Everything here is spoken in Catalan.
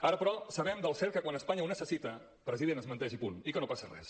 ara però sabem del cert que quan espanya ho necessita president es menteix i punt i que no passa res